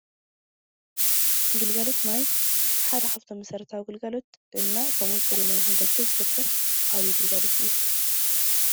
ግልጋሎት ማይ ሓደ ካፍቶም መሰረታዊ ግልጋሎት እና ከምኡ እዉን ፅሩይ ማይ ንኽንረክብ ዝገብር ዓብዪ ግልጋሎት እዩ፡፡